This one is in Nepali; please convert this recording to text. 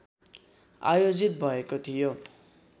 आयोजित भएको थियो